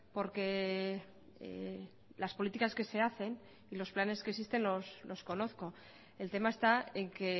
porque las políticas que se hacen y los planes que existen los conozco el tema está en que